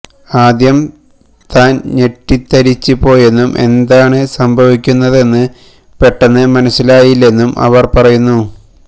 ആദ്യം താൻ ഞെട്ടിത്തരിച്ച് പോയെന്നും എന്താണ് സംഭവിക്കുന്നതെന്ന് പെട്ടെന്ന് മനസിലായില്ലെന്നും അവർ പറയുന്നു